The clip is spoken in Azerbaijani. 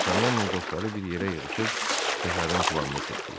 Dartanyanla dostları bir yerə yığışıb səfərin planını tutdular.